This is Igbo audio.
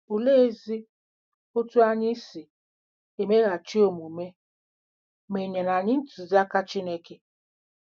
Oleezi otú anyị si emeghachi omume ma e nyere anyị ntụziaka Chineke?